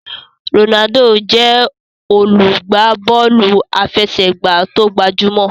Ronaldo jé olugba Bọ́ọ̀lù àfẹsẹ̀gbá tóo gbajúmò.